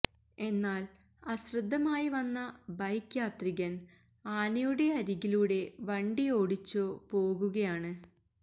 എന്നാല് അശ്രദ്ധമായി വന്ന ബൈക്ക് യാത്രികന് ആനയുടെ അരികിലൂടെ വണ്ടി ഓടിച്ചോ പോകുകയാണ്